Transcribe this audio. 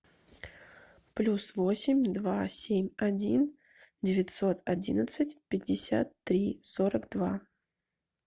плюс восемь два семь один девятьсот одиннадцать пятьдесят три сорок два